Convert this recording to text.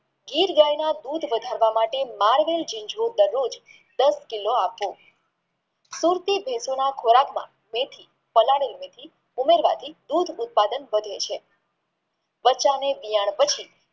ગીર ગાયના દૂધ વધારવા માટે દસ કિલો આપવો સુરતી દેશો ના ખોરાકમાં મેથી પલાળેલી મેથી દૂધ ઉત્પાદન વધે છે બચ્ચાં ને દિયણ પછી